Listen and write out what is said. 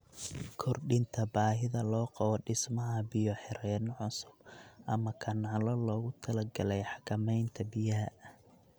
Kordhinta baahida loo qabo dhismaha biyo-xireenno cusub ama kanaalo loogu talagalay xakamaynta biyaha.